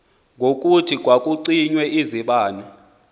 ngokuthi kwakucinywa izibane